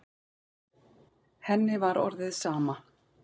Henni var orðið sama.